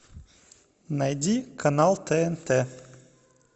найди канал тнт